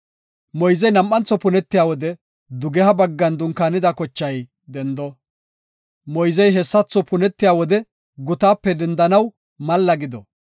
Moyzey nam7antho punetiya wode dugeha baggan dunkaanida kochay dendo. Moyzey hessatho punetiya wode gutaape dendanaw malla gido.